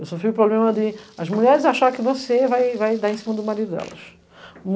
Eu sofri o problema de as mulheres acharem que você vai vai dar em cima do marido delas.